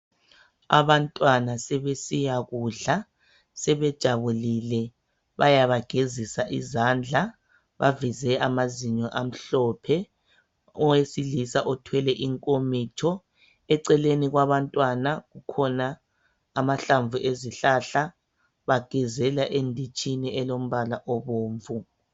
Abantwana sebesiyakudla Sebejabulile .Bayabagezisa izandla. Baveze amazinyo amhlophe .Owesilisa othwele inkomitsho Eceleni kwabantwana kukhona amahlamvu ezihlahla Bagezela enditshini elombala obomvu